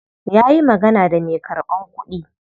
Ya yi magana da me karban kudi.